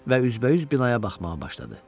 Və üzbəüz binaya baxmağa başladı.